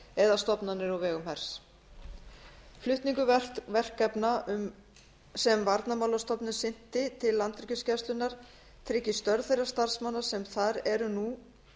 eða stofnanir á vegum hers flutningur verkefna sem varnarmálastofnun sinnti til landhelgisgæslunnar tryggir störf þeirra starfsmanna sem þar eru nú